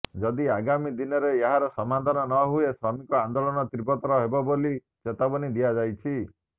ଯଦି ଆଗାମୀ ଦିନରେ ଏହାର ସମାଧାନ ନ ହୁଏ ଶ୍ରମିକ ଆନ୍ଦୋଳନ ତୀବ୍ରତର ହେବ ବୋଲି ଚେତାବନୀ ଦିଆଯାଇଛି